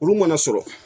Olu mana sɔrɔ